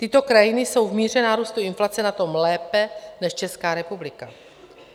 Tyto krajiny jsou v míře nárůstu inflace na tom lépe než Česká republika.